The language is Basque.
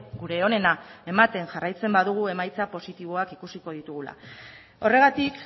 gure onena ematen jarraitzen badugu emaitza positiboak ikusiko ditugula horregatik